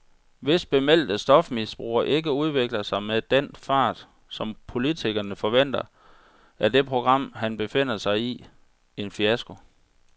Hvis bemeldte stofmisbrugere ikke udvikler sig med den fart, som politikerne forventer, er det program, han befinder sig i, en fiasko.